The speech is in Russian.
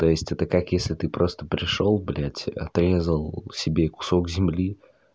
то это как если ты просто пришёл блядь отрезал себе кусок земли